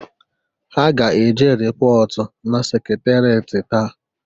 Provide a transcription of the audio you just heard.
Ha ga-eje repot na sektereti taa